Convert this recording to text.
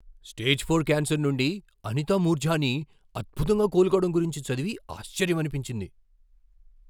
Stage four cancer నుండి అనితా మూర్జానీ అద్భుతంగా కోలుకోవడం గురించి చదివి ఆశ్చర్యమనిపించింది.